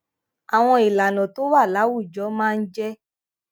àwọn ìlànà tó wà láwùjọ máa ń jé